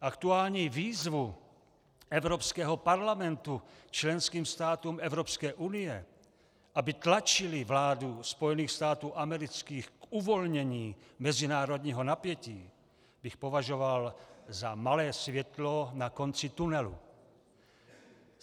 Aktuální výzvu Evropského parlamentu členským státům Evropské unie, aby tlačily vládu Spojených států amerických k uvolnění mezinárodního napětí, bych považoval za malé světlo na konci tunelu.